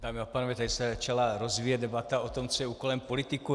Dámy a pánové, tady se začala rozvíjet debata o tom, co je úkolem politiků.